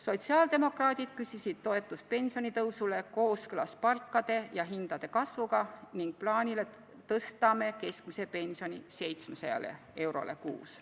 Sotsiaaldemokraadid küsisid toetust pensionitõusule kooskõlas palkade ja hindade kasvuga ning plaanile tõsta keskmine pension 700 euroni kuus.